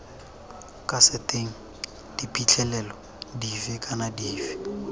kaseteng diphitlhelelo dife kana dife